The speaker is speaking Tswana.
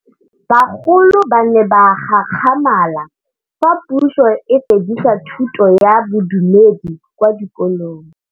Bagolo ba ne ba gakgamala fa Pusô e fedisa thutô ya Bodumedi kwa dikolong.